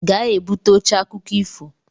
Gaa-ebute oche akụkọ ifo